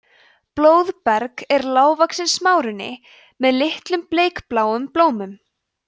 blóðberg er lágvaxinn smárunni með litlum bleikbláum blómum